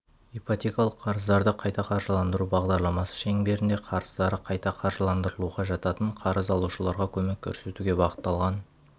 ипотекалық қарыздарды қайта қаржыландыру бағдарламасы шеңберінде қарыздары қайта қаржыландырылуға жататын қарыз алушыларға көмек көрсетуге бағытталған